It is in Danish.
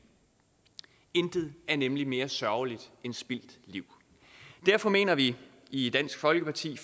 intet er nemlig mere sørgeligt end spildt liv derfor mener vi i dansk folkeparti